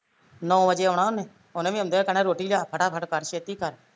ਨੋਂ ਵਜੇ ਆਉਣਾ ਉਹਨੇ, ਉਹਨੇ ਵੀ ਆਉਂਦਿਆ ਕਹਿਣਾ ਰੋਟੀ ਲਿਆ ਫਟਾ ਫਟ ਕਰ ਛੇਤੀ ਕਰ